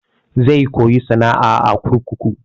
Zai koya sana'a a kurkuku.